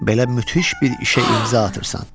Belə müthiş bir işə imza atırsan.